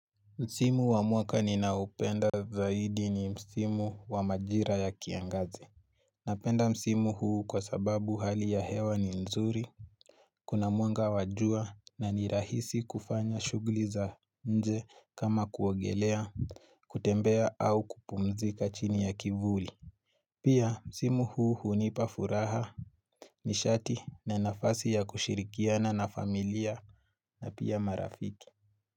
Msimu wa mwaka ninaupenda zaidi ni, msimu wa majira ya kiangazi. Napenda msimu huu kwa sababu hali ya hewa ni nzuri. Kuna mwanga wa jua na ni rahisi kufanya shughuli za nje kama kuogelea, kutembea au kupumzika chini ya kivuli. Pia msimu huu hunipa furaha. Nishati na nafasi ya kushirikiana na familia. Na pia marafiki.